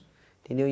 Entendeu? E